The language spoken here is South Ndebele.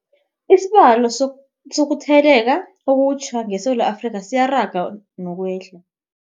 Isibalo sokuthele leka okutjha ngeSewula Afrika siyaraga nokwehla.